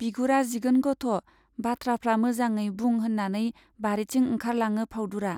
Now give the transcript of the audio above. बिगुरा जिगोन गथ', बाथ्राफ्रा मोजाङै बुं होन्नानै बारिथिं ओंखारलाङो फाउदुरा।